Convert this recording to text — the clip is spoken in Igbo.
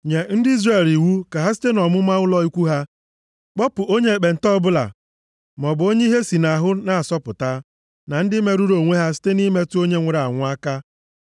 “Nye ndị Izrel iwu ka ha site nʼọmụma ụlọ ikwu ha kpọpụ onye ekpenta ọbụla maọbụ onye ihe si nʼahụ na-asọpụta, na ndị merụrụ onwe ha site nʼimetụ onye nwụrụ anwụ aka.